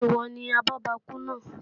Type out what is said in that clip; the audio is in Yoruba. Ṣé ìwọ ni abọ́bakú náà?